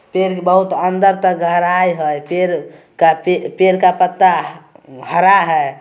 पेड़ के बहुत अंदर तक गहराई हई पेड़ का पेड़ पेड़ का पत्ता उम हरा है।